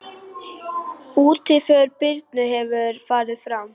Útför Birnu hefur farið fram.